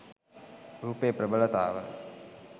රූපයේ ප්‍රබලතාව